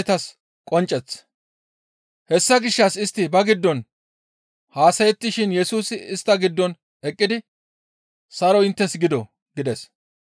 Hessa gishshas istti ba giddon haasayettishin Yesusi istta giddon eqqidi, «Saroy inttes gido!» gides.